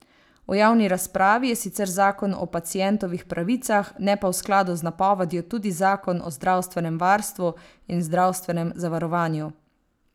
V javni razpravi je sicer zakon o pacientovih pravicah, ne pa v skladu z napovedjo tudi zakon o zdravstvenem varstvu in zdravstvenem zavarovanju.